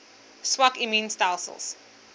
swak immuun stelsels